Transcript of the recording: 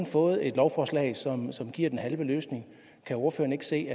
fået et lovforslag som som giver den halve løsning kan ordføreren ikke se